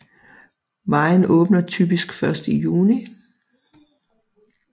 Vejen åbner typisk først i juni